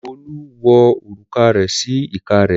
Olú wo òrùka rẹ̀ sí ìka rẹ̀.